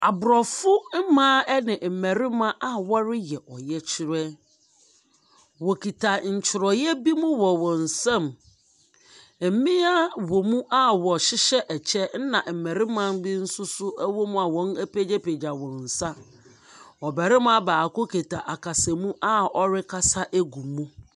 Aborɔfo mmaa ne mmarima a wɔreyɛ ɔyɛkyerɛ, wokita ntwerɛeɛ bi mu wɔ nsam, mmaa ɛwɔ mu a wɔhyehyɛ ɛkyɛ, na mmarima nso apagya wɔn nsa. Ɔbarima baako kita akasamu a ɔrekasa agu mu.